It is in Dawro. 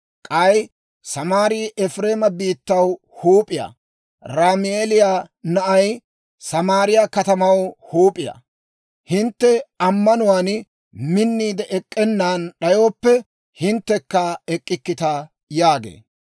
K'ay Samaarii Efireema biittaw huup'iyaa; Ramaaliyaa na'ay Samaariyaa katamaw huup'iyaa; hintte ammanuwaan minniide ek'k'ennan d'ayooppe, hinttekka ek'k'ikkita» yaagee.